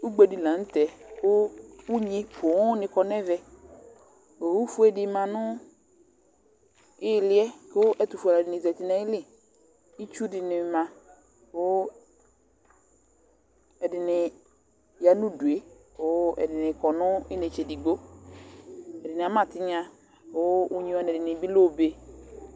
Ʊgbe di lanutɛ ku ʊɣŋɩ ƒoo ŋɩ ƙɔ ŋɛʋɛ Owʊ fʊe dɩ ma ŋʊ ɩlɩɛ, ɛtʊfʊe alʊ ɛdini zatɩ ŋʊ aƴɩlɩ Ɩtsʊ dini ma ku ɛdinɩ ƴa ŋʊ ʊdʊe kʊ edini kɔ nu iŋetse digbo Ɛdini ama tɩɣŋa kʊ ʊɣŋɩ ɛdini bi lɛ obe